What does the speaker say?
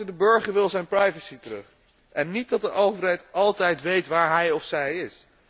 De burger wil zijn privacy terug en wil niet dat de overheid altijd weet waar hij of zij is.